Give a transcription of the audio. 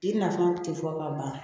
Den nafan tɛ fɔ ka ban